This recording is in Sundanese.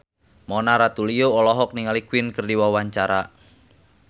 Mona Ratuliu olohok ningali Queen keur diwawancara